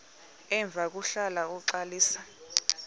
emva kwahlala uxalisa